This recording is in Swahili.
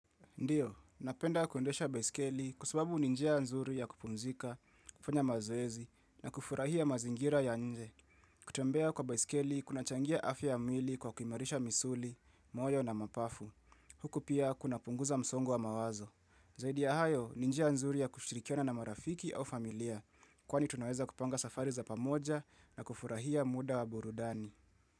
Ndiyo, napenda kuendesha baiskeli kwa sababu ni njia nzuri ya kupumzika, kufanya mazoezi na kufurahia mazingira ya nje. Kutembea kwa baiskeli kunachangia afya ya mwili kwa kuimarisha misuli, moyo na mapafu. Huku pia kunapunguza msongo wa mawazo. Zaidi ya hayo ni njia nzuri ya kushirikiana na marafiki au familia kwani tunaweza kupanga safari za pamoja na kufurahia muda wa burudani.